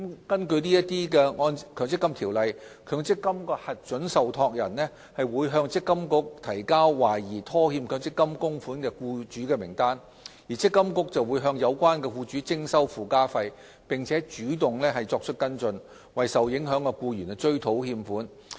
根據《強制性公積金計劃條例》，強積金的核准受託人會向積金局提交懷疑拖欠強積金供款的僱主名單，積金局會向有關僱主徵收附加費，並主動作出跟進，為受影響的僱員追討欠款。